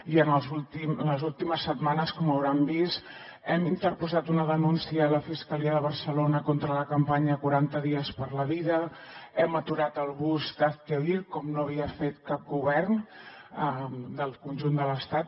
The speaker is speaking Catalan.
i en les últimes setmanes com deuen haver vist hem interposat una denúncia a la fiscalia de barcelona contra la campanya quaranta dies per la vida hem aturat el bus d’hazte oír com no havia fet cap govern del conjunt de l’estat